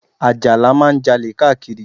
Àjàlá máa ń Jalè káàkiri